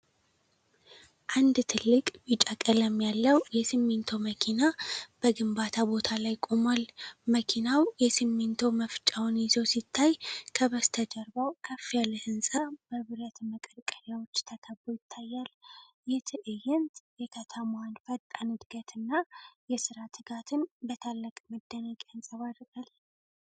አንድ ትልቅ ቢጫ ቀለም ያለው የሲሚንቶ መኪና በግንባታ ቦታ ላይ ቆሟል። መኪናው የሲሚንቶ መፍጫውን ይዞ ሲታይ፣ ከበስተጀርባው ከፍ ያለ ህንፃ በብረት መቀርቀሪያዎች ተከቦ ይታያል። ይህ ትዕይንት የከተማዋን ፈጣን ዕድገትና የሥራ ትጋትን በታላቅ መደነቅ ያንጸባርቃል።